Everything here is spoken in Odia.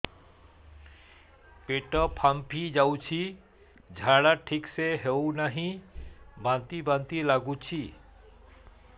ପେଟ ଫାମ୍ପି ଯାଉଛି ଝାଡା ଠିକ ସେ ହଉନାହିଁ ବାନ୍ତି ବାନ୍ତି ଲଗୁଛି